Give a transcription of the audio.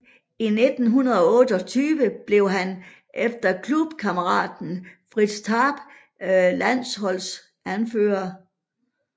I 1928 blev han efter klubkammeraten Fritz Tarp landsholdets anfører